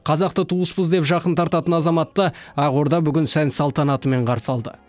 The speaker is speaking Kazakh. қазақты туыспыз деп жақын тартатын азаматты ақорда бүгін сән салтанатымен қарсы алды